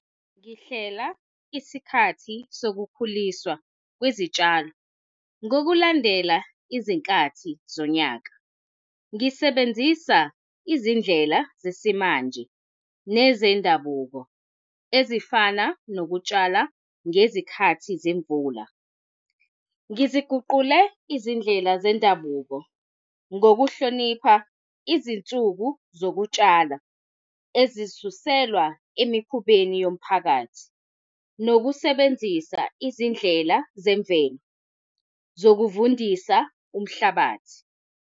Ngihlela isikhathi sokukhuliswa kwezitshalo, ngokulandela izinkathi zonyaka. Ngisebenzisa izindlela zesimanje nezendabuko, ezifana nokutshala ngezikhathi zemvula. Ngiziguqule izindlela zendabuko ngokuhlonipha izinsuku zokutshalo ezisuselwa emikhubeni yomphakathi, nokusebenzisa izindlela zemvelo zokuvundisa umhlabathi.